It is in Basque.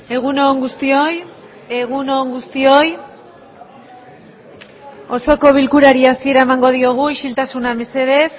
egun on guztioi egun on guztioi osoko bilkurari hasiera emango diogu isiltasuna mesedez